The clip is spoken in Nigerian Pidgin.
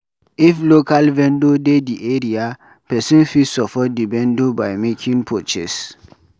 If local vendor dey di area, person fit support di vendor by making purchase